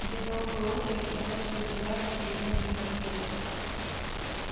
где-то около озера просачиваются газы из недр меркурия